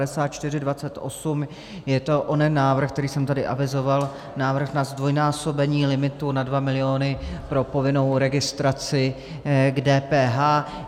Je to onen návrh, který jsem tady avizoval - návrh na zdvojnásobení limitu na 2 miliony pro povinnou registraci k DPH.